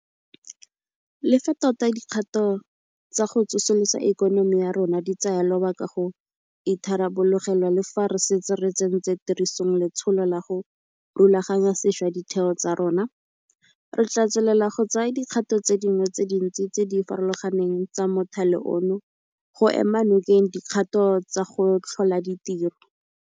Le fa tota dikgato tsa go tsosolosa ikonomi ya rona di tsaya lobaka go itharabologelwa le fa re setse re tsentse tirisong letsholo la go rulaganya sešwa ditheo tsa rona, re tla tswelela go tsaya dikgato tse dingwe tse dintsi tse di farologaneng tsa mothale ono go ema nokeng dikgato tsa go tlhola ditiro.